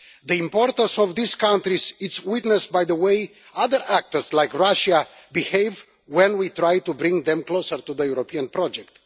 The importance of these countries is shown by the way other actors like Russia behave when we try to bring them closer to the European project.